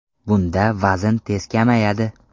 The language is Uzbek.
Bunda vazn tez kamayadi.